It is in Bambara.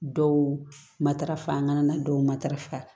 Dɔw matarafa an kana dɔw matarafa